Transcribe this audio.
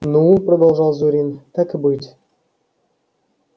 ну продолжал зурин так и быть